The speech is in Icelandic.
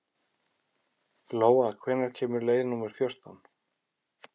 Lóa, hvenær kemur leið númer fjórtán?